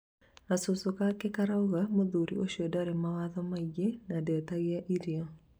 gacucu gake karauga Mũthuri ũcio ndarĩ mawatho maingĩ na ndetagia irio